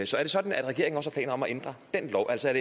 så er det sådan at regeringen også har planer om at ændre den lov altså er